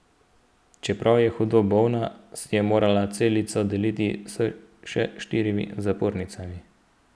Čeprav je hudo bolna, si je morala celico deliti s še štirimi zapornicami.